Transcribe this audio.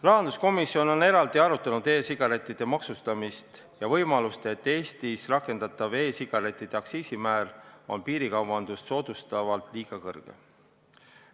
Rahanduskomisjon on eraldi arutanud e-sigarettide maksustamist ja võimalust, et Eestis rakendatav e-sigarettide aktsiisimäär on piirikaubandust soodustades liiga kõrge.